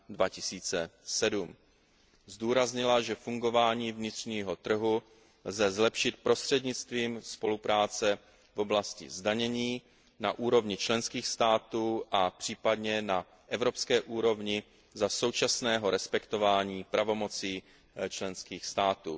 2007. Zdůraznila, že fungování vnitřního trhu lze zlepšit prostřednictvím spolupráce v oblasti zdanění na úrovni členských států, a případně na evropské úrovni, za současného respektování pravomocí členských států.